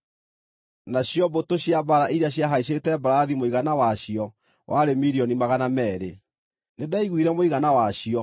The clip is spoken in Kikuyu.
Nacio mbũtũ cia mbaara iria ciahaicĩte mbarathi mũigana wacio warĩ milioni magana meerĩ. Nĩndaiguire mũigana wacio.